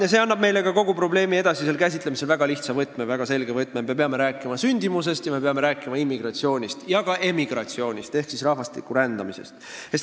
Ja see annab meile kogu probleemi edasisel käsitlemisel ka väga lihtsa, väga selge võtme: me peame rääkima sündimusest ning me peame rääkima immigratsioonist ja ka emigratsioonist ehk rahvastiku rändamisest.